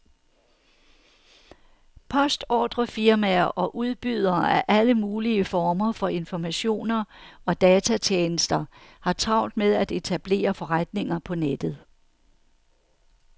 Postordrefirmaer og udbydere af alle mulige former for informationer og datatjenester har travlt med at etablere forretninger på nettet.